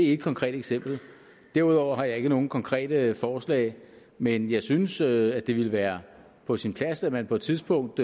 et konkret eksempel derudover har jeg ikke nogen konkrete forslag men jeg synes at det ville være på sin plads at man på et tidspunkt